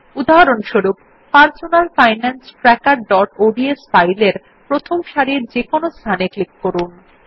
উদাহরণস্বরূপ personal finance trackerঅডস file এ প্রথম সারির যেকোনো স্থানে ক্লিক করুন